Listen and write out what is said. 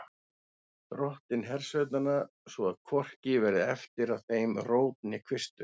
Dottinn hersveitanna, svo að hvorki verði eftir af þeim rót né kvistur.